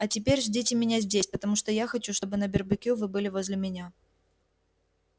а теперь ждите меня здесь потому что я хочу чтобы на барбекю вы были возле меня